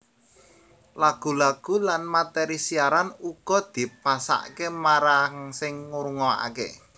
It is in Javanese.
Lagu lagu lan materi siaran uga dipasake marang sing ngrungokake